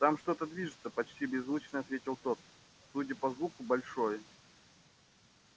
там что-то движется почти беззвучно ответил тот судя по звуку большое